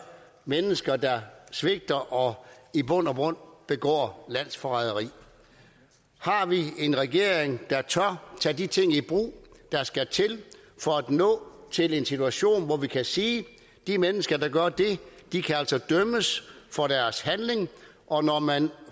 mennesker der svigter og i bund og grund begår landsforræderi har vi en regering der tør tage de ting i brug der skal til for at nå til en situation hvor vi kan sige at de mennesker der gør det altså kan dømmes for deres handling og når man